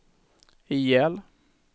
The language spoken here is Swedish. ihjäl